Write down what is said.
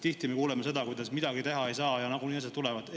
Tihti me kuuleme seda, kuidas midagi teha ei saa ja nagunii need tulevad.